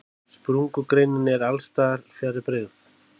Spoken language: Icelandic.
Sprungureinin er alls staðar fjarri byggð.